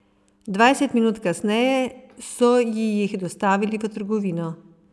Dvajset minut kasneje so ji jih dostavili v trgovino.